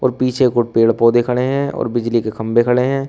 पीछे को पेड़ पौधे खड़े है और बिजली के खंभे खड़े है।